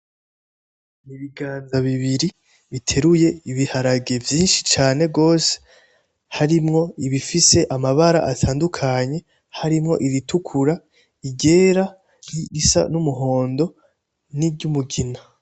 ibiganza bibiri biteruye ibiharage vyishi cane gose harimwo ibifise amabara atandukanye harimwo ibitukura, iryera n'irisa n'umuhondo niryumugina